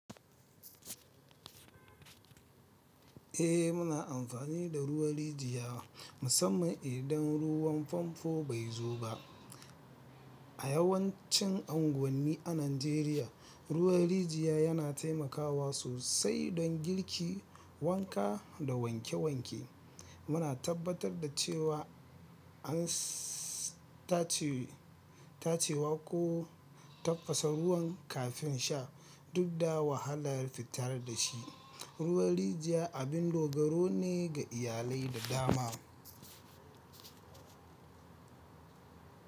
Eh, muna amfani da ruwan rijiya musamman idan ruwan famfo bai zo ba. A yawancin unguwanni a Najeriya, ruwan rijiya yana taimakawa sosai don girki, wanka, da wanke wanke. Muna tabbatar da cewa an ss tacewa ko tafasa ruwan kafin sha, duk da wahalar datare da shi. Ruwan rijiya abin dogaro ne ga iyalai da dama.